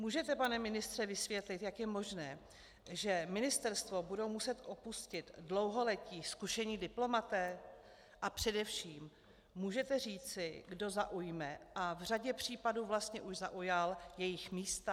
Můžete, pane ministře, vysvětlit, jak je možné, že ministerstvo budou muset opustit dlouholetí zkušení diplomaté, a především můžete říci, kdo zaujme a v řadě případů vlastně už zaujal jejich místa?